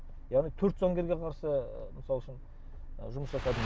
яғни төрт заңгерге қарсы мысал үшін жұмыс жасадым